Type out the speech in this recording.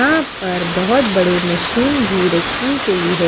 यहां पर बहोत बड़ी मशीन भी रखी गई है।